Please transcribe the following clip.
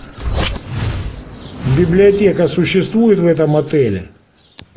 библиотека существует в этом отеле